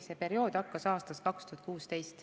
See periood hakkas aastast 2016.